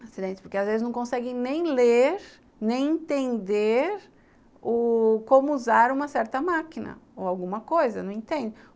Acidentes, porque às vezes não conseguem nem ler, nem entender u como usar uma certa máquina ou alguma coisa, não entendem.